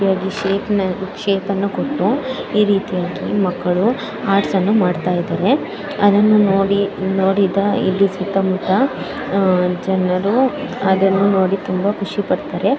ಇದೆ ರೀತಿ ಶೇಪ್ ಅನ್ನು ಕೊಟ್ಟು ಮಕ್ಕಳು ಆರ್ಟ್ಸ್ ಅನ್ನು ಮಾಡ್ತಾ ಇದೆರೆ ಅದನ್ನು ನೋಡಿದ ಇಲ್ಲಿ ಸುತ್ತ ಮುತ್ತ ಅದನ್ನು ನೋಡಿದ ಜನರು ತುಂಬಾ ಖುಷಿ ಪಡ್ತಾರೆ .